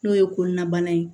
N'o ye kɔnɔnabana ye